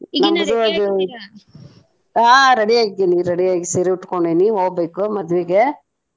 ಹಾ ready ಆಗಿದ್ದೀನಿ ready ಆಗಿ ಸೀರೆ ಉಟ್ಕೊಂಡೇನಿ ಹೊಗ್ಬೇಕು ಮದ್ವಿಗೆ.